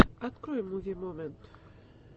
открой муви момент